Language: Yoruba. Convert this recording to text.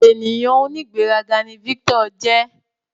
Ènìyàn onigberaga ní Victor jẹ